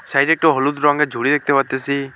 সাইডে একটি হলুদ রঙের ঝুড়ি দেখতে পারতেসি।